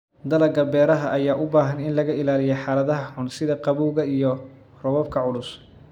Dalagga beeraha ayaa u baahan in laga ilaaliyo xaaladaha xun sida qabowga iyo roobabka culus.